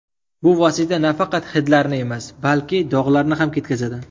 Bu vosita nafaqat hidlarni emas, balki dog‘larni ham ketkazadi.